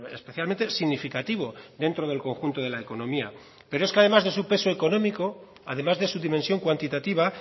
especialmente significativo dentro del conjunto de la economía pero es que además de su peso económico además de su dimensión cuantitativa